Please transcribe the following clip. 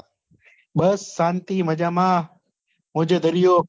બસ શાંતિ મજામાં મોજે દરિયો